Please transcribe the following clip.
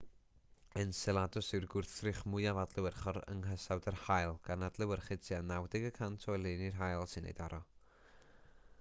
enceladus yw'r gwrthrych mwyaf adlewyrchol yng nghysawd yr haul gan adlewyrchu tua 90 y cant o oleuni'r haul sy'n ei daro